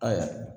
Ayiwa